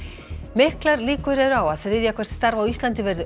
miklar líkur eru á að þriðja hvert starf á Íslandi verði